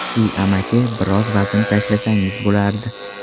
Si amaki, biroz vazn tashlasangiz bo‘lardi.